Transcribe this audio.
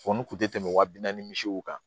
n kun tɛ tɛmɛ wa bi naani misiw kan